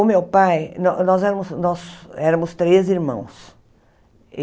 O meu pai... Nó nós éramos nós éramos três irmãos.